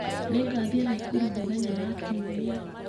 Ningathiĩ Nakuru mũthenya ya kiumia.